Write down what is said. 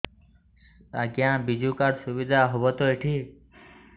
ଆଜ୍ଞା ବିଜୁ କାର୍ଡ ସୁବିଧା ହବ ତ ଏଠି